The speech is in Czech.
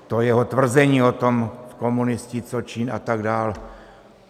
To jeho tvrzení o tom - komunisti, co čin a tak dál.